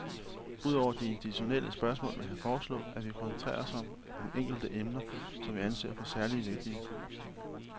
Ud over de institutionelle spørgsmål vil jeg foreslå, at vi koncentrerer os om enkelte emner, som vi anser for særlig vigtige.